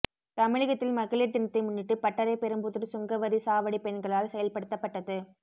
தமிழகத்தில் மகளிர் தினத்தை முன்னிட்டு பட்டரை பெரும்புதூர் சுங்கவரி சாவடி பெண்களால் செயல்படுத்தப்பட்டது